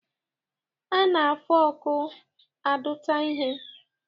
A na-fọọkụ adụta ihe.